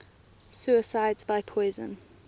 suicides by poison